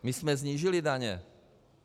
My jsme snížili daně.